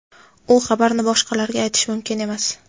u xabarni boshqalarga aytish mumkin emas.